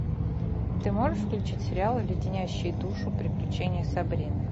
ты можешь включить сериал леденящие душу приключения сабрины